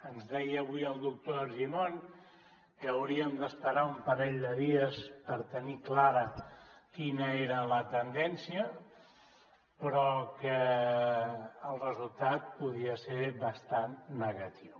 ens deia avui el doctor argimon que hauríem d’esperar un parell de dies per tenir clara quina era la tendència però que el resultat podia ser bastant negatiu